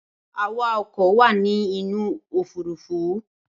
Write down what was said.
Awaoko wa ni inu ofurufu.